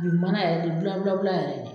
A bi mana yɛrɛ de bula bula bula yɛrɛ de